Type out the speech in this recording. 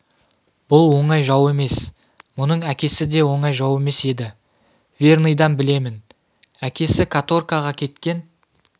бұл оңай жау емес мұның әкесі де оңай жау емес еді верныйдан білемін әкесі каторгаға кеткен